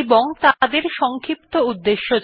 এবং তাদের সংক্ষিপ্ত উদ্দেশ্যে জানায়